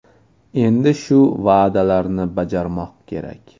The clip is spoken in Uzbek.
Endi shu va’dalarni bajarmoq kerak.